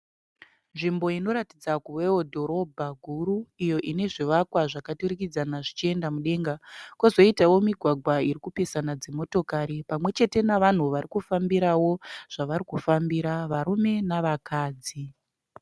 Nzvimbo inoratidza kuweo dhorobha guru. Iyo ine zvivakwa zvakaturikidzana zvichienda mudenga. Kozoitao migwagwa irikupesana dzimotokari pamwechete navanhu vari kufambirao zvavarikufambira varume navakadzi.